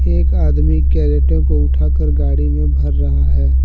एक आदमी कैरेटो को उठा कर गाड़ी में भर रहा है।